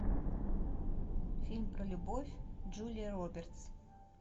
фильм про любовь джулия робертс